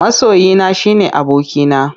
Masoyina shine abokina.